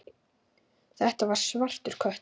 Þetta var svartur köttur.